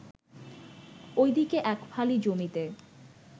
ওই দিকে এক ফালি জমিতে